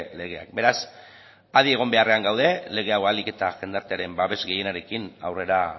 legeak beraz adi egon beharrean gaude lege hau ahalik eta jendartearen babes gehienarekin aurrera